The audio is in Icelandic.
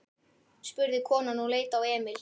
spurði konan og leit á Emil.